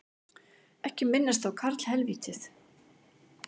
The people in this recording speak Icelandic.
Ekki minnast á karlhelvítið